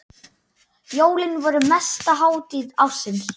Jólin voru mesta hátíð ársins.